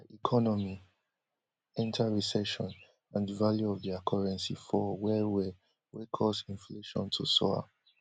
dia economy enta recession and di value of dia currency fall wellwell wey cause inflation to soar